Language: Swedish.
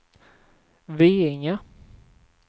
Veinge